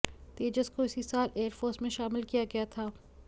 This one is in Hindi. तेजस को इसी साल एयरफोर्स में शामिल किया गया था